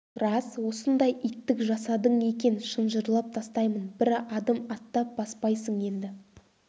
рас осындай иттік жасадың екен шынжырлап тастаймын бір адым аттап баспайсың енді